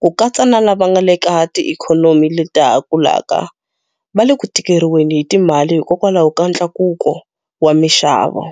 ku katsa na lava nga eka tiikhonomi leta ha kulaka, va le ku tikeriweni hi timali hikwalaho ka ntlakuko wa mixavo.